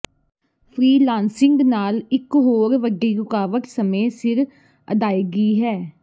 freelancing ਨਾਲ ਇਕ ਹੋਰ ਵੱਡੀ ਰੁਕਾਵਟ ਸਮੇਂ ਸਿਰ ਅਦਾਇਗੀ ਹੈ